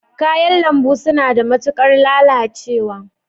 Kayan lambu suna da matuƙar lalacewa